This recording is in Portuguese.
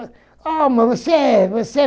Ah, mas você é você